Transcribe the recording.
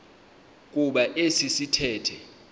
kuba esi sithethe